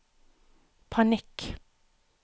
panikk